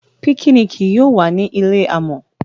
Pikiniki yóò wá ni ilé amò.